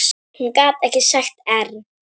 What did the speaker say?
Hún gat ekki sagt err.